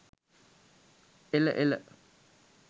එල එල.